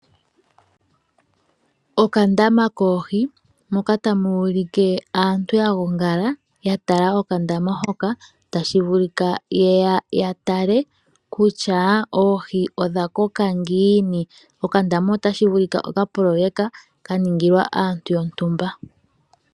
Okandama koohi, mpoka pu n aaantu ya gongala ya tala okandama hoka. Otashi vulika ye ya ya tale kutya oohi odha koka ngiini. Okandama otashi vulika okapoloyeka ka ningilwa aantu yontumba.